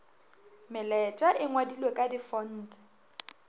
melaetša e ngwadilwe ka difonte